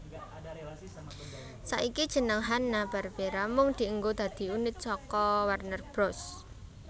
Saiki jeneng Hanna Barbera mung dienggo dadi unit saka Warner Bros